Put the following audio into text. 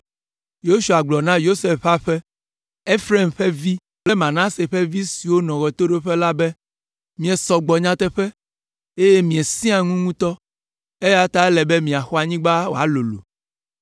Yosua gblɔ na Yosef ƒe aƒe, Efraim ƒe vi kple Manase ƒe vi siwo nɔ ɣetoɖoƒe la be, “Miesɔ gbɔ nyateƒe, eye miesẽa ŋu ŋutɔ, eya ta ele be miaxɔ anyigba wòalolo.